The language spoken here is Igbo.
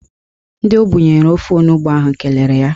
Ndị o bunyere ofe onugbo ahụ kelere ya.